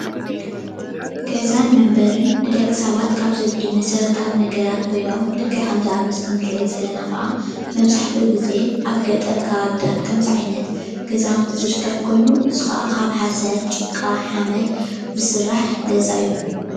ገዛን መንበርን፡- ንደቂ ሰባት ካብ ዘድልይዎም መሰረታዊ ነገራት ኮይኖም ልክዕ ከም እዚ ኣብ ምስሊ እንሪኦ ዘለና ከዓ መብዛሕትኡ ግዜ ኣብ ከባቢታት ገጠር ከምዚ ዓይነት ገዛውቲ ዝርከብ ኮይኑ ካብ ሓሰር፣ ጭቃ፣ ሓመድ ዝስራሕ ገዛ እዩ፡፡